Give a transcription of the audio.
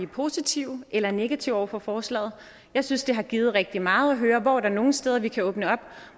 er positive eller negative over for forslaget jeg synes det har givet rigtig meget at høre hvor der er nogle steder vi kan åbne op og